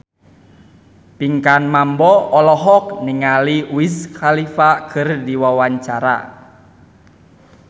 Pinkan Mambo olohok ningali Wiz Khalifa keur diwawancara